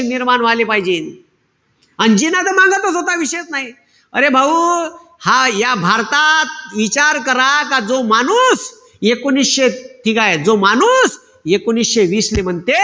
निर्माण व्हायला पायजेल. अन जिना त मांगतच होता, तो विषयच नाई. अरे भाऊ, हा ह्या भारतात इचार करा का जो माणूस एकोणीशे ठीकेय? जो माणूस एकोणीशे वीस ले म्हणते,